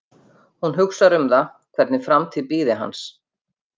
Hún hugsar um það hvernig framtíð bíði hans.